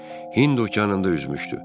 Hind okeanında üzmüşdü.